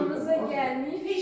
Şaplonu qaldırmayıb.